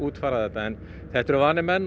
útfæra þetta en þetta eru vanir menn